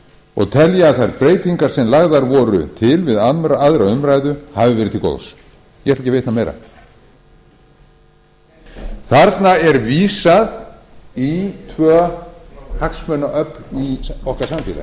og telja að þær breytingar sem lagðar voru til við aðra umræðu hafi verið til góðs ég ætla ekki að vitna meira þarna er vísað í tvö hagsmunaöfl í okkar